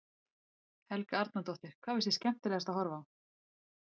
Helga Arnardóttir: Hvað finnst þér skemmtilegast að horfa á?